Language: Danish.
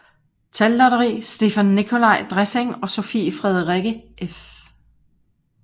Tallotteri Stephan Nicolai Dresing og Sophie Frederikke f